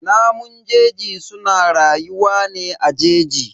Namun jeji suna rayuwa ne a jeji.